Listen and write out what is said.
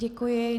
Děkuji.